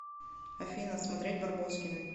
афина смотреть барбоскины